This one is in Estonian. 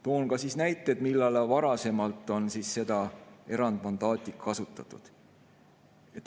Toon ka näiteid, millal on seda erandmandaati kasutatud.